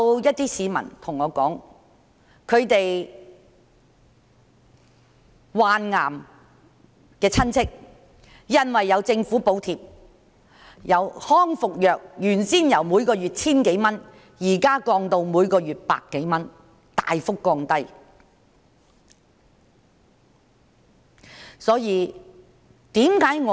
有些市民對我說，他們患癌的內地親戚因為有政府補貼，康復藥由原先每月 1,000 多元，現時降至每月百多元，是大幅的下降。